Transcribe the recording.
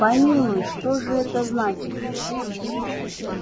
помилуй что же это значит